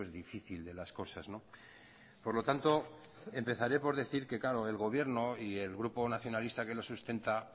difícil de las cosas por lo tanto empezaré por decir que el gobierno y el grupo nacionalista que lo sustenta